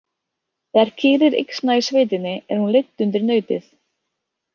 Þegar kýr er yxna í sveitinni er hún leidd undir nautið.